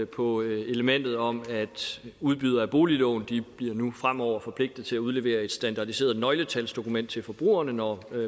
på elementet om at udbydere af boliglån nu fremover bliver forpligtet til at udlevere et standardiseret nøgletalsdokument til forbrugerne når